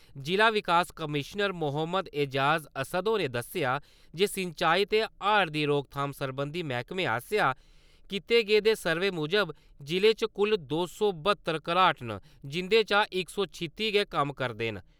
जि'ला विकास कमिशनर मोहम्मद ऐजाज़ अस्सद होरें दस्सेआ जे सिंचाई ते हाड़ दी रोकथाम सरबंधी मैह्कमे आसेआ कीते गेदे सर्वे मुजब जि'ले च कुल दो सौ बहत्तर घराट न, जिं'दे चा इक सौ छित्ती गै कम्म करदे न।